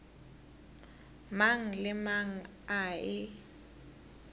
mang le mang a e